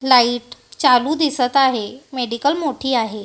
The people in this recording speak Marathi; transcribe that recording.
लाईट चालू दिसतं आहे. मेडिकल मोठी आहे.